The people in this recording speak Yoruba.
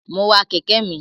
Mo wa kẹ̀kẹ́ mi.